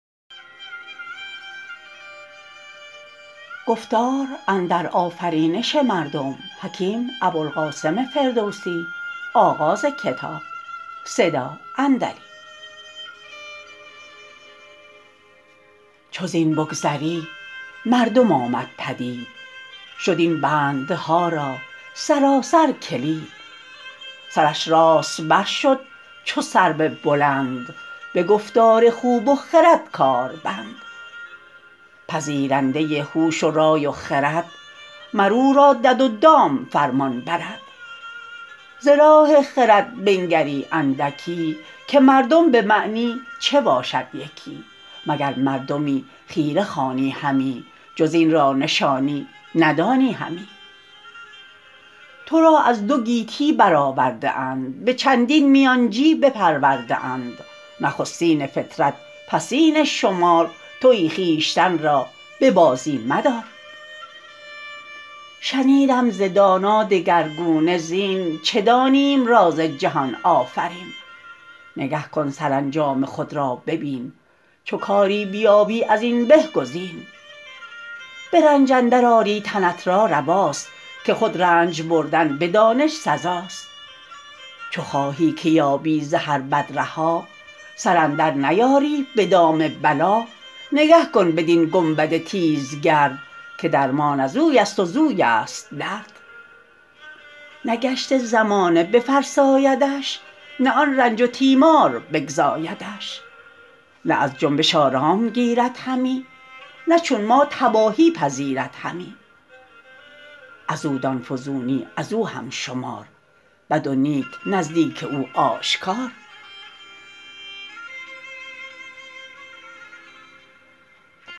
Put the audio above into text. چو زین بگذری مردم آمد پدید شد این بندها را سراسر کلید سرش راست بر شد چو سرو بلند به گفتار خوب و خرد کار بند پذیرنده هوش و رای و خرد مر او را دد و دام فرمان برد ز راه خرد بنگری اندکی که مردم به معنی چه باشد یکی مگر مردمی خیره خوانی همی جز این را نشانی ندانی همی تو را از دو گیتی بر آورده اند به چندین میانچی بپرورده اند نخستین فطرت پسین شمار تویی خویشتن را به بازی مدار شنیدم ز دانا دگرگونه زین چه دانیم راز جهان آفرین نگه کن سرانجام خود را ببین چو کاری بیابی از این به گزین به رنج اندر آری تنت را رواست که خود رنج بردن به دانش سزاست چو خواهی که یابی ز هر بد رها سر اندر نیاری به دام بلا نگه کن بدین گنبد تیزگرد که درمان ازوی است و زویست درد نه گشت زمانه بفرسایدش نه آن رنج و تیمار بگزایدش نه از جنبش آرام گیرد همی نه چون ما تباهی پذیرد همی از او دان فزونی از او هم شمار بد و نیک نزدیک او آشکار